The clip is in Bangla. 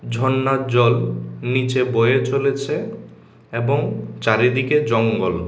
ঝর্নার জল নীচে বয়ে চলেছে এবং চারিদিকে জঙ্গল।